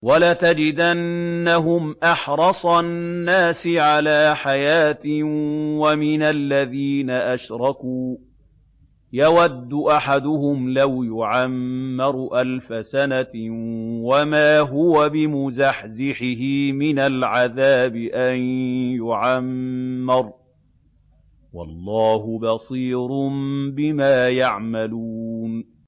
وَلَتَجِدَنَّهُمْ أَحْرَصَ النَّاسِ عَلَىٰ حَيَاةٍ وَمِنَ الَّذِينَ أَشْرَكُوا ۚ يَوَدُّ أَحَدُهُمْ لَوْ يُعَمَّرُ أَلْفَ سَنَةٍ وَمَا هُوَ بِمُزَحْزِحِهِ مِنَ الْعَذَابِ أَن يُعَمَّرَ ۗ وَاللَّهُ بَصِيرٌ بِمَا يَعْمَلُونَ